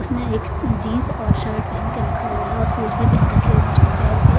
उसने एक जींस और शर्ट पहन के रखा हुआ है और शुज भी पहन रखे हुए हैं उसने पैर पे।